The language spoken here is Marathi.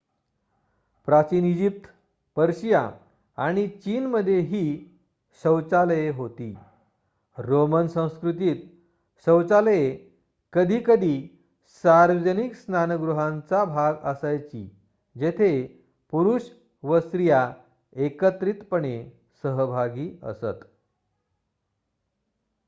प्राचीन इजिप्त पर्शिया आणि चीनमध्येही शौचालये होती रोमन संस्कृतीत शौचालये कधीकधी सार्वजनिक स्नानगृहांचा भाग असायची जेथे पुरुष व स्त्रिया एकत्रितपणे सहभागी असत